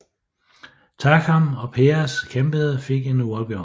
Takam og Perez kæmpede fik en uafgjort